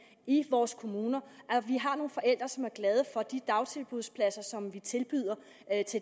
i vores kommuner og at vi har nogle forældre som er glade for de dagtilbudspladser som vi tilbyder